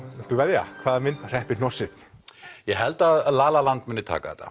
viltu veðja hvaða mynd hreppir hnossið ég held að la la land muni taka þetta